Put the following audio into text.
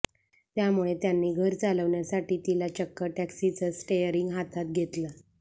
त्यामुळे त्यांनी घर चालवण्यासाठी तिला चक्क टॅक्सीचं स्टेअरिंग हातात घेतलं